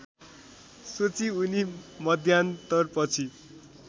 सोची उनी मध्यान्तरपछि